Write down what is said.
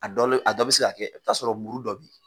A dɔ la a dɔ bɛ se ka kɛ i bɛ t'a sɔrɔ muru dɔ bɛ